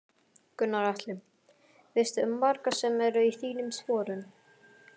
Gunnar Atli: Veistu um marga sem eru í þínum sporun?